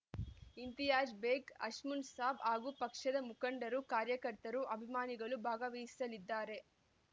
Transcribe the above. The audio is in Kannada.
ಇಂತಿಯಾಜ್‌ ಬೇಗ್‌ ಅಶ್‌ಮುನ್‌ಸಾಬ್‌ ಹಾಗೂ ಪಕ್ಷದ ಮುಖಂಡರು ಕಾರ್ಯಕರ್ತರು ಅಭಿಮಾನಿಗಳು ಭಾಗವಹಿಸಲಿದ್ದಾರೆ